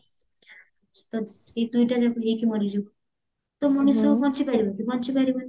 ତ ସେଇ ଦୁଇଟା ଯାକ ହେଇକି ମଣିଷ ମରିଯିବ ତ ମଣିଷ ବଞ୍ଚିପାରିବ କି ବଞ୍ଚିପାରିବନି